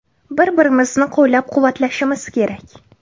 Bir-birimizni qo‘llab-quvvatlashimiz kerak.